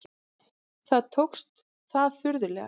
Þó tókst það furðanlega.